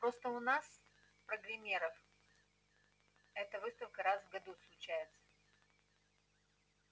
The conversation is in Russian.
просто у нас программеров эта выставка раз в году случается